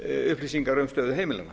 upplýsingar um stöðu heimilanna